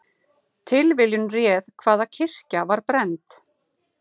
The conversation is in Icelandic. Tilviljun réð hvaða kirkja var brennd